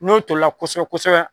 N'o tollia kosɛbɛ kosɛbɛ.